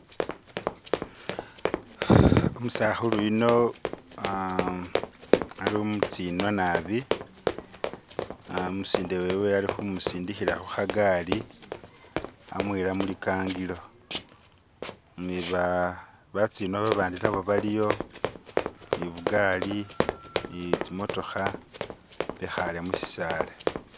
Umusakhulu yuno aaa alimutsinwa nabi umusinde wewe alikhumusindikhila khukagali amuyila mulikangilo ni baa batsinwa babandi nabo baliyo ni bugali ni tsimotokha bekhale mushisaala.